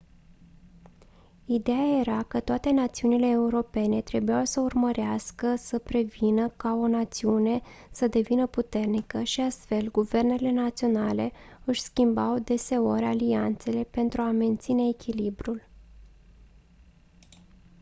idea era că toate națiunile europene trebuiau să urmărească să prevină ca o națiune să devină puternică și astfel guvernele naționale își schimbau deseori alianțele pentru a menține echilibrul